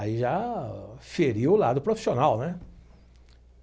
Aí já feriu o lado profissional, né?